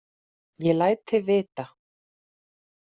Ég læt þig vita.